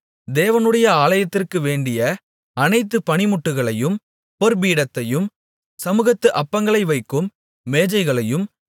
தேவனுடைய ஆலயத்திற்கு வேண்டிய அனைத்து பணிமுட்டுகளையும் பொற்பீடத்தையும் சமுகத்து அப்பங்களை வைக்கும் மேஜைகளையும்